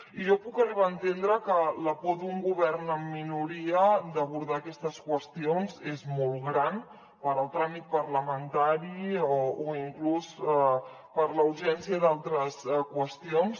i jo puc arribar a entendre que la por d’un govern en minoria d’abordar aquestes qüestions és molt gran pel tràmit parlamentari o inclús per la urgència d’altres qüestions